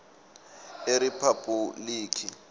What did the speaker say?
eriphabhulikhi